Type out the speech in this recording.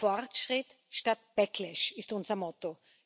Fortschritt statt Backlash ist unser Motto.